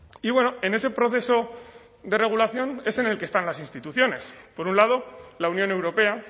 y bueno en ese proceso de regulación es en el que están las instituciones por un lado la unión europea